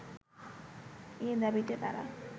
এ দাবিতে তারা